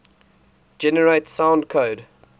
generate source code